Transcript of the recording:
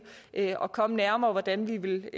at komme nærmere hvordan vi ville